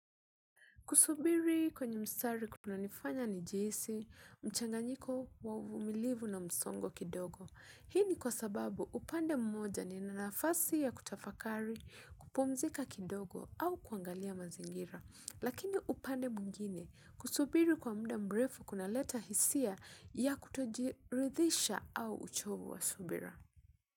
Kusubiri kwenye mstari kuna nifanya ni jihisi, mchanganyiko wa uvimilivu na msongo kidogo. Hii ni kwa sababu upande mmoja ni na nafasi ya kutafakari kupumzika kidogo au kuangalia mazingira. Lakini upande mwingine kusubiri kwa muda mrefu kuna leta hisia ya kutojirithisha au uchovu wa subira.